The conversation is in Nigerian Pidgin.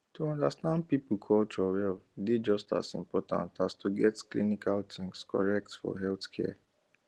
to understand people culture well dey just as important as to get clinical things correct for healthcare